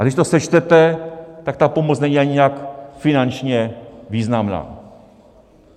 A když to sečtete, tak ta pomoc není ani nějak finančně významná.